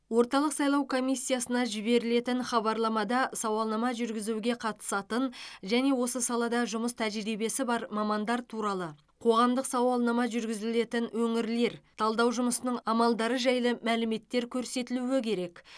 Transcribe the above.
орталық сайлау комиссиясына жіберілетін хабарламада сауалнама жүргізуге қатысатын және осы салада жұмыс тәжірибесі бар мамандар туралы қоғамдық сауалнама жүргізілетін өңірлер талдау жұмысының амалдары жайлы мәліметтер көрсетілуі керек